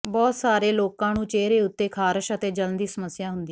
ਬਹੁਤ ਸਾਰੇ ਲੋਕਾਂ ਨੂੰ ਚਿਹਰੇ ਉੱਤੇ ਖਾਰਸ਼ ਅਤੇ ਜਲਣ ਦੀ ਸਮੱਸਿਆ ਹੁੰਦੀ